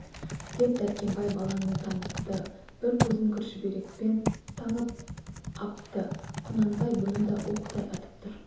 деп дәркембай баланы танытты бір көзін кір шүберекпен таңып апты құнанбай бұны да оқтай атып тұр